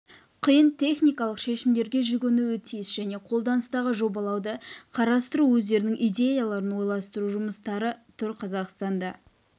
қиын техникалық шешімдерге жүгінуі тиіс және қолданыстағы жобалауды қарастыру өздерінің идеяларын ойластыру жұмыстары тұр қазақстанда